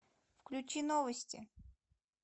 включи новости